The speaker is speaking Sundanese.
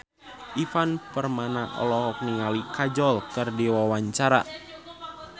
Ivan Permana olohok ningali Kajol keur diwawancara